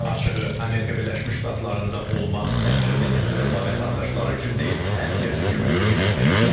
Açığı, Amerika Birləşmiş Ştatlarında olmaq təkcə Venesuela vətəndaşları üçün deyil, hər kəs üçün böyük riskdir.